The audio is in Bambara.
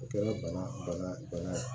O kɛra bana bana bana ye